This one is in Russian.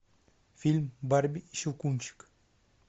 фильм барби и щелкунчик